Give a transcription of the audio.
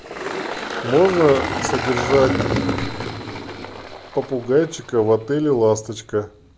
можно содержать попугайчика в отеле ласточка